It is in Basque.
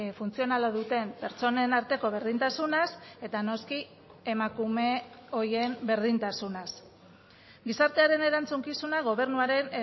funtzionala duten pertsonen arteko berdintasunaz eta noski emakume horien berdintasunaz gizartearen erantzukizuna gobernuaren